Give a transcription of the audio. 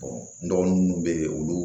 n dɔgɔnin munnu be yen olu